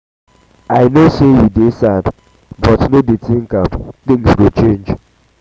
i no say you dey sad but no dey think am things go change